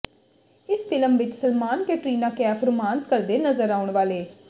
ਇਸ ਫਿਲਮ ਵਿੱਚ ਸਲਮਾਨ ਕੈਟਰੀਨਾ ਕੈਫ ਰੋਮਾਂਸ ਕਰਦੇ ਨਜ਼ਰ ਆਉਣ ਵਾਲੇ